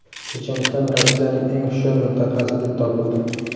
Checheniston Rossiyaning eng hushyor mintaqasi deb topildi.